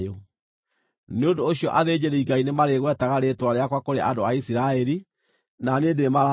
“Nĩ ũndũ ũcio athĩnjĩri-Ngai nĩmarĩgwetaga rĩĩtwa rĩakwa kũrĩ andũ a Isiraeli, na niĩ nĩndĩĩmarathimaga.”